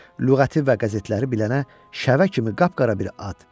Lüğəti və qəzetləri bilənə şəvə kimi qap-qara bir at.